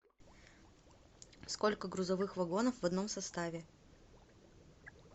сколько грузовых вагонов в одном составе